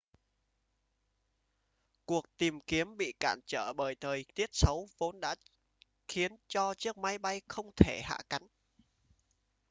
cuộc tìm kiếm bị cản trở bởi thời tiết xấu vốn đã khiến cho chiếc máy bay không thể hạ cánh